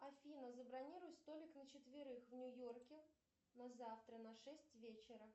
афина забронируй столик на четверых в нью йорке на завтра на шесть вечера